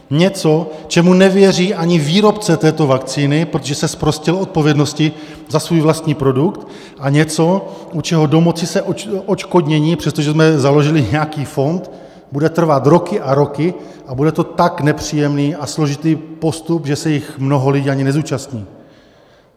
Něco, čemu nevěří ani výrobce této vakcíny, protože se zprostil odpovědnosti za svůj vlastní produkt, a něco u čeho domoci se odškodnění, přestože jsme založili nějaký fond, bude trvat roky a roky a bude to tak nepříjemný a složitý postup, že se jej mnoho lidí ani nezúčastní.